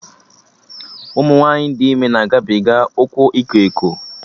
Ụmụ nwaanyị dị ime na-agabiga ụkwụ iko eko